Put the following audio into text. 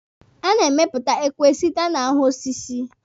A na-emepụta ekwe site na ahụ osisi.